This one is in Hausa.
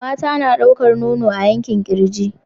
Mata suna ɗaukar nono a yankin kirji.